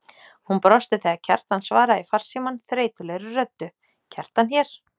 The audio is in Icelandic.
Hún brosti þegar Kjartan svaraði í farsímann þreytulegri röddu: Kjartan hér.